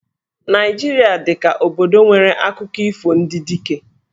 Naịjirịa dị ka obodo nwere akụkọ ifo ndị Dike.